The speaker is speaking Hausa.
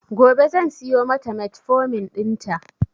Gobe zan siyo mata metformin ɗin ta